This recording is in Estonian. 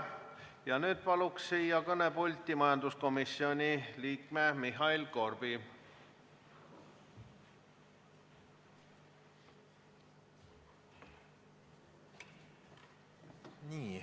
Ja nüüd palun siia kõnepulti majanduskomisjoni liikme Mihhail Korbi!